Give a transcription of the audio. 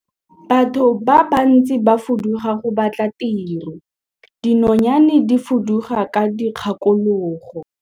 Batho ba bantsi ba fuduga go batla tiro, dinonyane di fuduga ka dikgakologo.